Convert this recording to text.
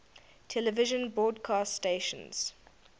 television broadcast stations